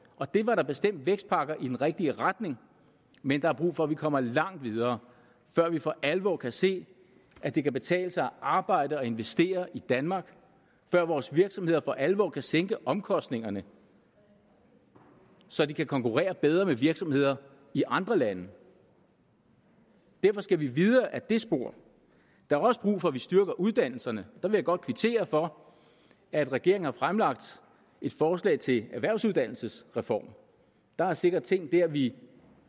og det var da bestemt vækstpakker i den rigtige retning men der er brug for at vi kommer langt videre før vi for alvor kan se at det kan betale sig at arbejde og investere i danmark før vores virksomheder for alvor kan sænke omkostningerne så de kan konkurrere bedre med virksomheder i andre lande derfor skal vi videre ad det spor der er også brug for at vi styrker uddannelserne der vil jeg godt kvittere for at regeringen har fremlagt et forslag til en erhvervsuddannelsesreform der er ting er ting der vi